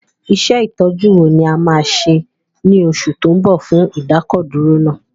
Iṣẹ́ Ìtọ́jú wo ni o máa ṣe ní oṣù tó ń bọ̀ fún ìdákọ̀dúró náà?